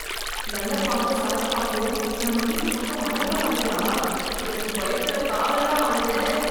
நல்ல பாம்பும் சாரப் பாம்பும் நம்ம வீட்டுப் பக்கம் அழகா ஆடுதா, எனக்கு பயத்துல காலெல்லாம் ஆடுதே.